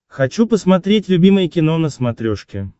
хочу посмотреть любимое кино на смотрешке